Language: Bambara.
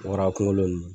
Wara kunkolo